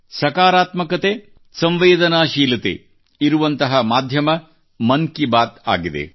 ಸಕಾರಾತ್ಮಕತೆಸಂವೇದನಾಶೀಲತೆ ಇರುವಂತಹ ಮಾಧ್ಯಮ ಮನ್ ಕಿ ಬಾತ್ ಆಗಿದೆ